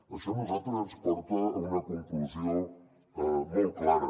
això a nosaltres ens porta a una conclusió molt clara